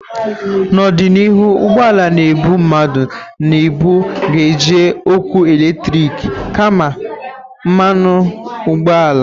Na ọdịnihu, ụgbọ ala na-ebu mmadu na ibu ga-eji ọkụ eletrik kama mmanụ ụgbọala.